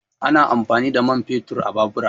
Ana amfani da man fetur a babura